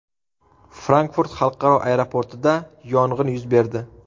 Frankfurt xalqaro aeroportida yong‘in yuz berdi.